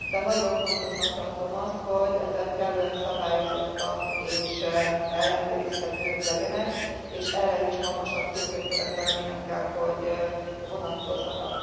De nagyon fontosnak tartom azt, hogy ezek kellően szabályozottak és ellenőrizhetők legyenek, és erre is magasabb tőkekövetelmények kell, hogy vonatkozzanak.